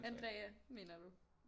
Andrea mener du